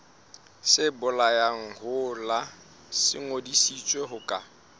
sebolayalehola se ngodisitswe ho ka